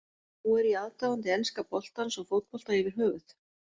Nú er ég aðdáandi enska boltans og fótbolta yfir höfuð.